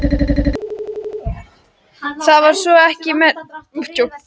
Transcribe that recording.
Það var svo sem ekkert merkilegt.